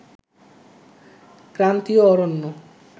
ক্রান্তিয় অরণ্য